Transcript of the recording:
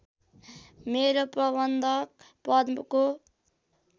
मेरो प्रबन्धक पदको